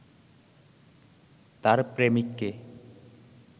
তার প্রেমিককে